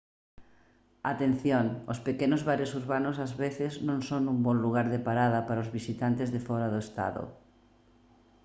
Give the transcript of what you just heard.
atención os pequenos bares urbanos ás veces non son un bo lugar de parada para os visitantes de fóra do estado